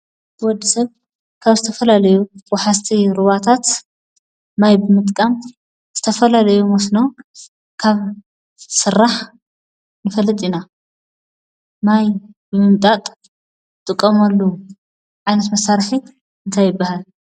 ወዲ ሰብ ካብ ዝተፈላለዩ ወሓዝቲ ሩባታታት ማይ ብምጥቃም ዝተፈላለዩ መስኖ ከብ ዝስራሕ ንፈልጥ ኢና። ማይ ብምምጣጥ እንጥቀመሉ ዓይነት መሳርሒ እንታይ ይባሃል?